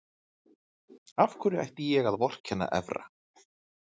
Af hverju ætti ég að vorkenna Evra?